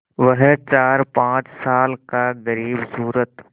वह चारपाँच साल का ग़रीबसूरत